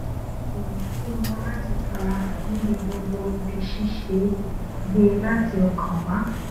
ìrètí wọn láti farahàn níbi gbogbo ibi ṣíṣe gbẹ láti ọkàn wá